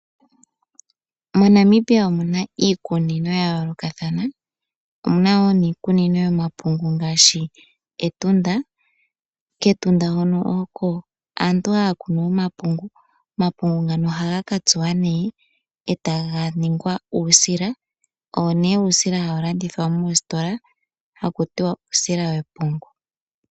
Mo Namibia omuna iikunino ya yoolokathana, omuna wo niikunino yomapungu ngaashi Etunda, kEtunda hono oko aantu haya kunu omapungu, omapungu ngano ohaga ka tsuwa nee etaga ningwa uusila hawu landithwa moositola haku tiwa uusila wepungu.